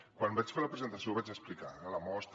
quan vaig fer la presentació ho vaig explicar eh la mostra